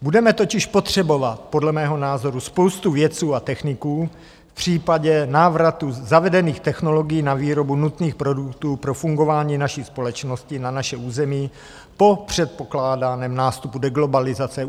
Budeme totiž potřebovat podle mého názoru spoustu vědců a techniků v případě návratu zavedených technologií na výrobu nutných produktů pro fungování naší společnosti na našem území po předpokládaném nástupu deglobalizace.